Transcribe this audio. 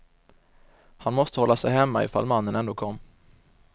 Han måste hålla sig hemma ifall mannen ändå kom.